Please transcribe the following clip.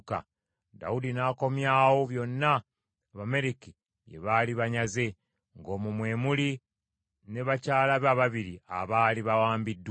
Dawudi n’akomyawo byonna Abamaleki bye baali banyaze, ng’omwo mwe muli ne bakyala be ababiri abaali bawambiddwa.